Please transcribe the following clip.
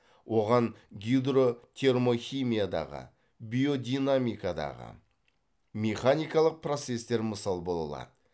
оған гидротермохимиядағы биодинамикадағы механикалық процестер мысал бола алады